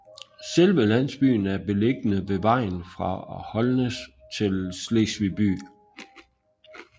Selve landsbyen er beliggende ved vejen fra Holnæs til Slesvig by